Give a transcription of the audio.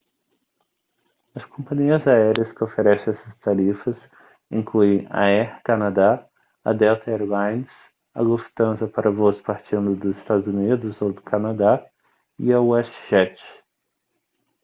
as companhias aéreas que oferecem essas tarifas incluem a air canada a delta air lines a lufthansa para voos partindo dos eua ou do canadá e a westjet